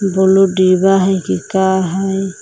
Blue डिब्बा हइ कि का हइ।